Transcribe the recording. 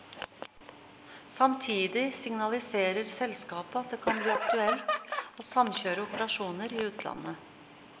Samtidig signaliserer selskapet at det kan bli aktuelt å samkjøre operasjoner i utlandet.